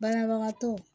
Banabagatɔw